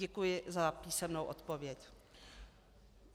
Děkuji za písemnou odpověď.